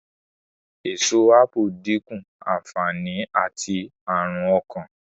Èso ápù dínkù ànfàní àti ní àrùn ọkàn